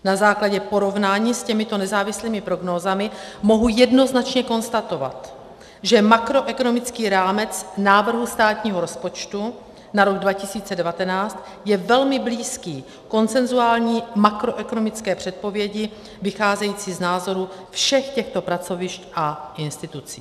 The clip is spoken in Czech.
Na základě porovnání s těmito nezávislými prognózami mohu jednoznačně konstatovat, že makroekonomický rámec návrhu státního rozpočtu na rok 2019 je velmi blízký konsenzuální makroekonomické předpovědi vycházející z názorů všech těchto pracovišť a institucí.